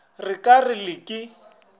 re ka re le ka